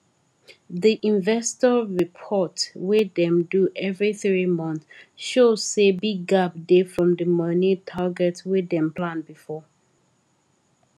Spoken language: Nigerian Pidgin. di investor report wey dem do every three month show say big gap dey from di money target wey dem plan before